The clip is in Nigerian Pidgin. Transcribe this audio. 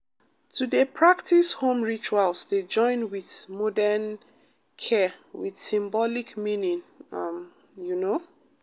to dey practice home rituals dey join with modern care with symbolic meaning um you know